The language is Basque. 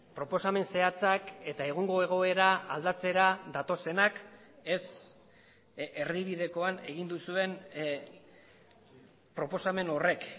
proposamen zehatzak eta egungo egoera aldatzera datozenak ez erdibidekoan egin duzuen proposamen horrek